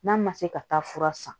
N'a ma se ka taa fura san